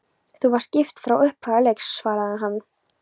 Þú varst gift frá upphafi leiks, svaraði hann.